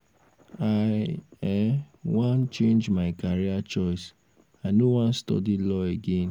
i um wan um change my career choice. i no wan study um law again